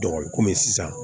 komi sisan